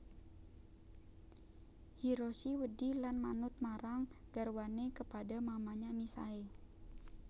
Hiroshi wedi lan manut marang garwane kepada mamanya misae